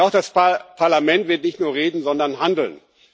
Und auch das Parlament wird nicht nur reden, sondern handeln.